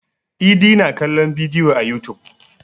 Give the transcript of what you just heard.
Idi na kallon bidiyo a yutub.